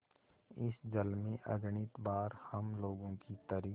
इस जल में अगणित बार हम लोगों की तरी